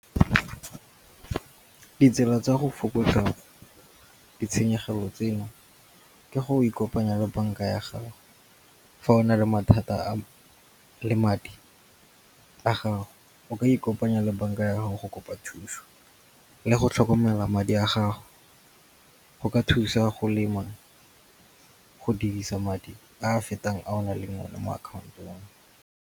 Ditsela tsa go fokotsa ditshenyegelo tseno ke go ikopanya le banka ya gago fa o na le mathata le madi a gago. O ka ikopanya le banka ya gago go kopa thuso. Le go tlhokomela madi a gago go ka thusa go lema go dirisa madi a a fetang a o naleng one mo akhaontong.